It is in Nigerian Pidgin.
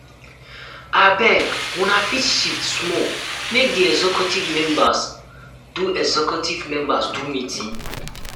abeg um una fit shift small make di executive members do executive members do meeting.